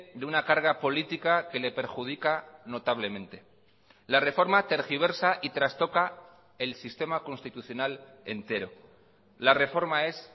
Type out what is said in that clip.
de una carga política que le perjudica notablemente la reforma tergiversa y trastoca el sistema constitucional entero la reforma es